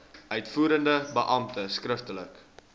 uitvoerende beampte skriftelik